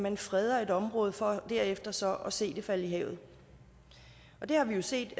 man freder et område for derefter så at se det falde i havet det har vi jo set